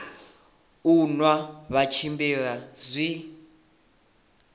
u nwa vha tshimbila zwi